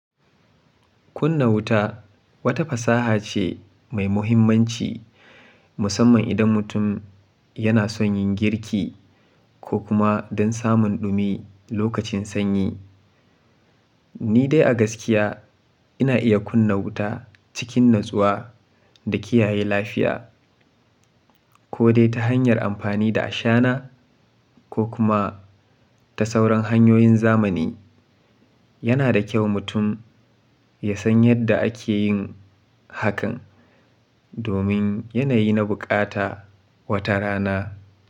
Kunna wuta wata fasaha ce mai muhimmanci musamman idan mutum yana son yin girki ko kuma don samun ɗumi lokacin sanyi. Ni dai a gaskiya ina iya kunna wuta cikin natsuwa da kiyaye lafiya ko dai ta hanyar amfani da ashana ko kuma ta sauran hanyoyin zamani. Yana da kyau mutum ya san yadda ake yin hakan domin yanayi na buƙata wata rana.